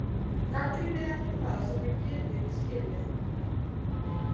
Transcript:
Gagnrýnið ekki það sem þið getið ekki skilið.